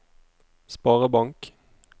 sparebank